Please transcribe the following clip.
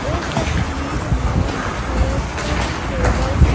इस तस्वीर में मुझे कुछ टेबल दि --